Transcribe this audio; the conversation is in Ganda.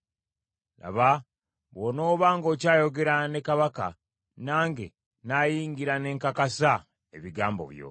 Laba bw’onooba ng’okyayogera ne kabaka, nange nnaayingira ne nkakasa ebigambo byo.”